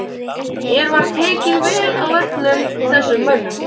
Mér var tekið vel af öllum þessum mönnum.